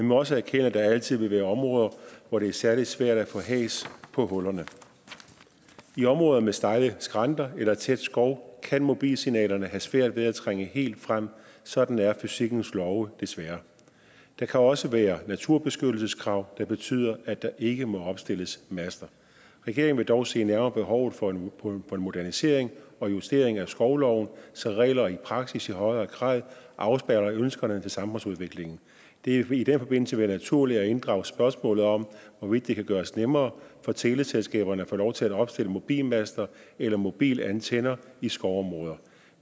må også erkende at der altid vil være områder hvor det er særlig svært at få has på hullerne i områder med stejle skrænter eller tæt skov kan mobilsignalerne have svært ved at trænge helt frem sådan er fysikkens love desværre der kan også være naturbeskyttelseskrav der betyder at der ikke må opstilles master regeringen vil dog se nærmere på behovet for en modernisering og justering af skovloven så reglerne i praksis i højere grad afspejler ønskerne til samfundsudviklingen det vil i den forbindelse være naturligt at inddrage spørgsmålet om hvorvidt det kan gøres nemmere for teleselskaberne at få lov til at opstille mobilmaster eller mobilantenner i skovområder